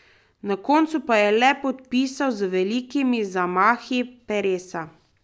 Na koncu pa je le podpisal z velikimi zamahi peresa.